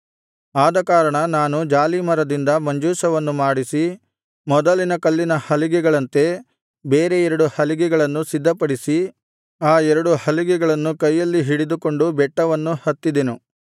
ಆದಕಾರಣ ನಾನು ಜಾಲೀಮರದಿಂದ ಮಂಜೂಷವನ್ನು ಮಾಡಿಸಿ ಮೊದಲಿನ ಕಲ್ಲಿನ ಹಲಿಗೆಗಳಂತೆ ಬೇರೆ ಎರಡು ಹಲಿಗೆಗಳನ್ನು ಸಿದ್ಧಪಡಿಸಿ ಆ ಎರಡು ಹಲಿಗೆಗಳನ್ನು ಕೈಯಲ್ಲಿ ಹಿಡಿದುಕೊಂಡು ಬೆಟ್ಟವನ್ನು ಹತ್ತಿದೆನು